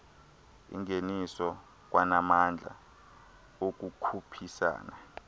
ingeniso kwanamandla okukhuphisana